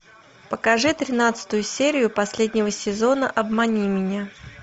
покажи тринадцатую серию последнего сезона обмани меня